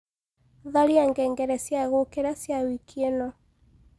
tharĩa ngengere cĩa gũũkĩra cĩa wĩkĩ ino